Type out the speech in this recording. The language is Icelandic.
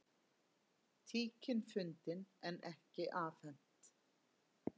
Tíkin fundin en ekki afhent